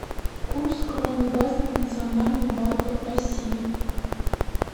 курс кроны в разных национальных банках россии